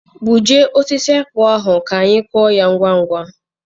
Gbujie osisi akpụ ahụ ka anyị kụọ ya ngwa ngwa.